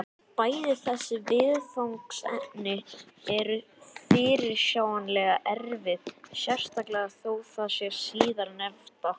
Bæði þessi viðfangsefni eru fyrirsjáanlega erfið, sérstaklega þó það síðarnefnda.